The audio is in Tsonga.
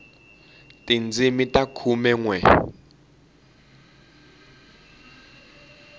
tindzimi ta khume nwe